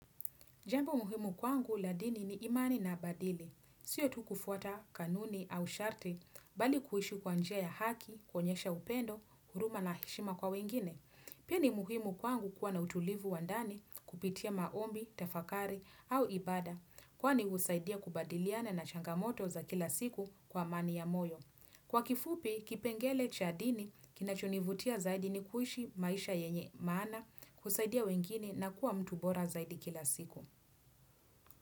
Jambo muhimu kwangu la dini ni imani na badili. Siyo tu kufuata kanuni au sharti, bali kuhishi kwa njia ya haki, koenyesha upendo, huruma na heshima kwa wengine. Pia ni muhimu kwangu kuwa na utulivu wa ndani kupitia maombi, tafakari au ibada, kwani usaidia kubadiliana na changamoto za kila siku kwa amani ya moyo. Kwa kifupi, kipengele cha dini, kinachonivutia zaidi ni kuhishi maisha yenye maana, kusaidia wengine na kuwa mtu bora zaidi kila siku.